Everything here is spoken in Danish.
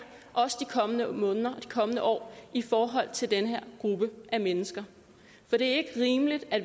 og også i de kommende måneder og de kommende år i forhold til den her gruppe af mennesker for det er ikke rimeligt at